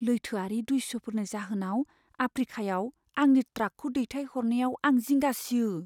लैथोआरि दस्युफोरनि जाहोनाव आफ्रीकायाव आंनि ट्राकखौ दैथायहरनायाव आं जिंगा सियो।